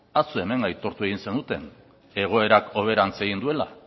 atzo hemen aitortu egin zenuten egoerak hoberantz egin duela